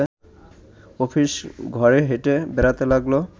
office ঘরে হেঁটে বেড়াতে লাগল